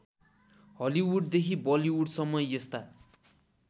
हलिउडदेखि बलिउडसम्म यस्ता